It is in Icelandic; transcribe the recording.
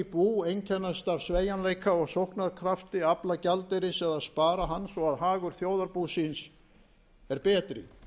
bú einkennast af sveigjanleika og sóknarkrafti afla gjaldeyris eða spara hann svo að hagur þjóðarbúsins er betri en